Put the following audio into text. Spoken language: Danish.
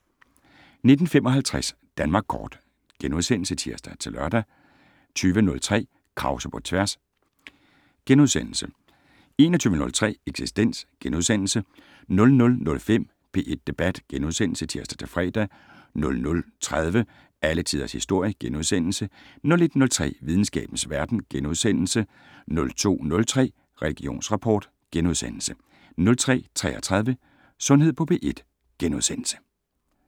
19:55: Danmark Kort *(tir-lør) 20:03: Krause på tværs * 21:03: Eksistens * 00:05: P1 Debat *(tir-fre) 00:30: Alle Tiders Historie * 01:03: Videnskabens Verden * 02:03: Religionsrapport * 02:33: Sundhed på P1 *